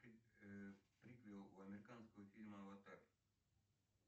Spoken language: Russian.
приквел у американского фильма аватар